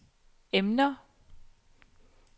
emner